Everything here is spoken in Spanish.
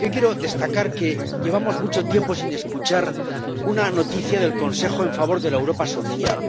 Quiero destacar que llevamos mucho tiempo sin escuchar una noticia del Consejo en favor de la Europa social.